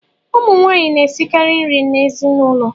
Ụmụnwaanyị na-esikara nri n’ezinụlọ